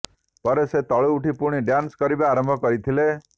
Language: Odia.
ପରେ ସେ ତଳୁ ଉଠି ପୁଣି ଡ୍ୟାନ୍ସ କରିବା ଆରମ୍ଭ କରିଥିଲେ